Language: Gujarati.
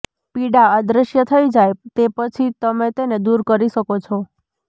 પીડા અદૃશ્ય થઈ જાય તે પછી તમે તેને દૂર કરી શકો છો